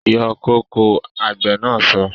Yọ kóko! Àgbè na so